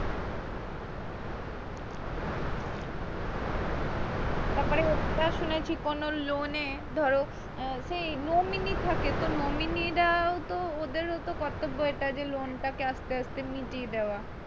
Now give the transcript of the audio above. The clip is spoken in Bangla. তারপর ওটাও শুনেছি কোনও loan এ ধরো সেই nominee থাকে তো nominee রাও তো ওদের ও তো কর্তব এটা যে loan টাকে আস্তে আস্তে মিটিয়ে দাওয়া।